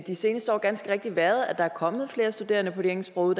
de seneste år ganske rigtigt været at der er kommet flere studerende på de engelsksprogede